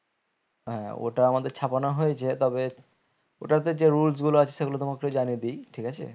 হ্যাঁ ওটা আমাদের ছাপানো হয়েছে তবে ওটাতে যে rules গুলো আছে সেগুলো তোমাকে জানিয়ে দি ঠিক আছে